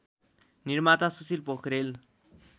निर्माता सुशील पोखरेल